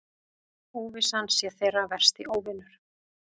Óvissan sé þeirra versti óvinur.